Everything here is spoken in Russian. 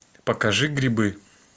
покажи грибы